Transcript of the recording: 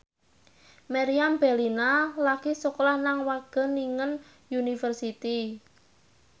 Meriam Bellina lagi sekolah nang Wageningen University